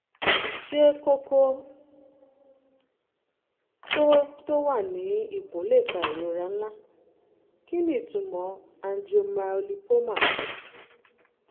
ṣé kókó tó tó wà ní ikùn lè fa ìrora ńlá? kí ni ìtumọ̀ angiomyolipoma?